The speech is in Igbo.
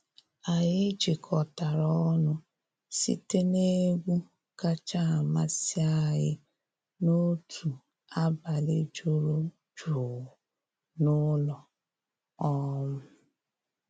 Anyị jikọtara ọnụ site n’egwu kacha amasị anyị n’otu abalị juru jụụ n’ụlọ. um